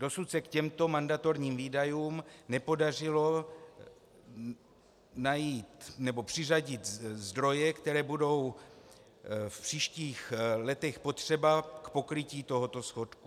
Dosud se k těmto mandatorním výdajům nepodařilo přiřadit zdroje, které budou v příštích letech potřeba k pokrytí tohoto schodku.